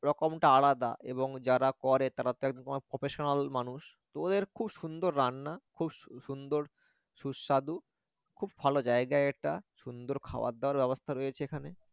রকমটা আলাদা এবং যারা করে তারা তো তোমার professional মানুষ তো ওদের খুব সুন্দর রান্না খুব সুন্দর সুস্বাদু খুব ভাল জায়গা এটা সুন্দর খাওয়াদাওয়ার ব্যবস্থা রয়েছে এখানে